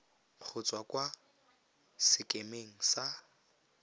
go tswa kwa sekemeng sa